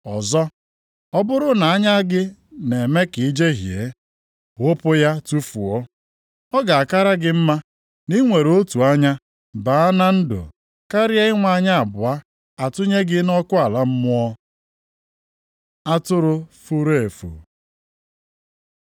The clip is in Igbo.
Ọzọ, ọ bụrụ na anya gị na-eme ka i jehie, ghụpụ ya tufuo. Ọ ga-akara gị mma na i nwere otu anya baa na ndụ, karịa inwe anya abụọ, a tụnye gị nʼọkụ ala mmụọ. Atụrụ furu efu